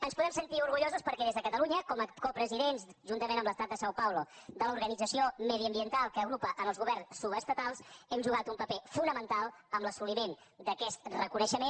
ens podem sentir orgullosos perquè des de catalunya com a copresidents juntament amb l’estat de são paulo de l’organització mediambiental que agrupa els governs subestatals hem jugat un paper fonamental en l’assoliment d’aquest reconeixement